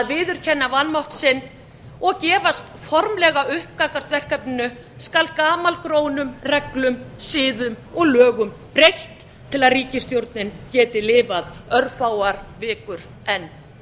viðurkenna vanmátt sinn og gefast formlega upp gagnvart verkefninu skal gamalgrónum reglum siðum og lögum breytt til að ríkisstjórnin geti lifað örfáar vikur enn